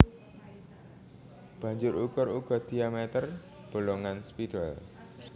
Banjur ukur uga diameter bolongan spidol